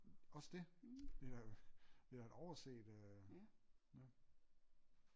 Også det vi har jo vi har da overset ja